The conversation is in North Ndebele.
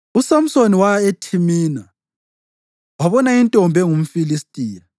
USamsoni waya eThimina wabona intombi engumFilistiya.